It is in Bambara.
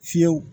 Fiyɛw